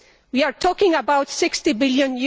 We are talking about EUR 60 billion.